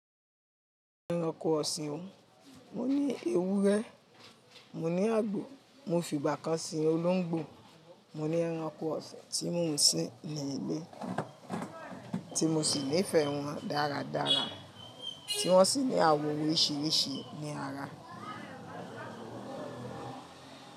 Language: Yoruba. Ẹranko ọ̀sìn o, mo ní ewúrẹ́, mo ní àgbò, mo fi ìgbà kan sín olóńgbò, mo ní ẹranko ọ̀sìn tí mò ń sin ní ilé, tí mo sì nífẹ̀ẹ́ wọn dáradára, tí wọ́n sì ní àwọ̀ oríṣiiríṣii ní ara.